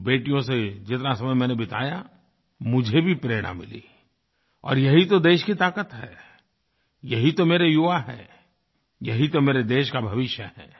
उन बेटियों से जितना समय मैंने बिताया मुझे भी प्रेरणा मिली और ये ही तो देश की ताकत हैं ये ही तो मेरे युवा हैं ये ही तो मेरे देश का भविष्य हैं